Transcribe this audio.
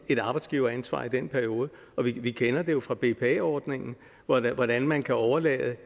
et arbejdsgiveransvar i den periode vi kender det jo fra bpa ordningen hvordan hvordan man kan overlade